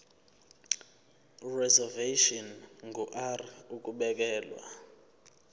reservation ngur ukubekelwa